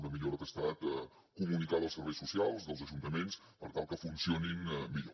una millora que ha estat comunicada als serveis socials dels ajuntaments per tal que funcionin millor